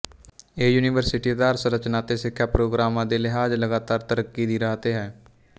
ਇਹ ਯੂਨੀਵਰਸਿਟੀ ਆਧਾਰਸੰਰਚਨਾ ਅਤੇ ਸਿੱਖਿਅਕ ਪ੍ਰੋਗਰਾਮਾਂ ਦੇ ਲਿਹਾਜ਼ ਲਗਾਤਾਰ ਤਰੱਕੀ ਦੀ ਰਾਹ ਤੇ ਹੈ